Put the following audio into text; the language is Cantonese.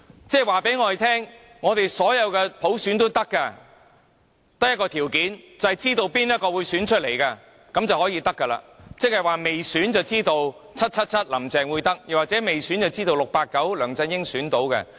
這等於告訴我們，你們要任何普選也可以，只有一個條件，便是誰人當選早有定案，即未選便已知 "777"" 林鄭"會當選，又或未選便知道 "689" 梁振英會當選。